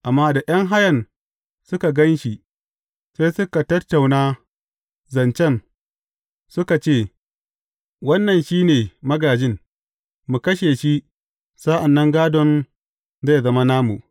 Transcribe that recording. Amma da ’yan hayan suka gan shi, sai suka tattauna zancen, suka ce, Wannan shi ne magājin, mu kashe shi sa’an nan gādon zai zama namu!’